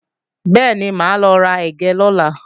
Bẹ́ẹ̀ni, máa lọ ra ẹ̀gẹ́ lọ́la